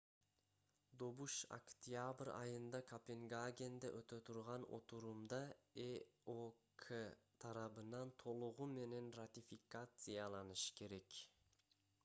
добуш октябрь айында копенгагенде өтө турган отурумда эок тарабынан толугу менен ратификацияланышы керек